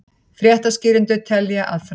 Fréttaskýrendur telja að framtíð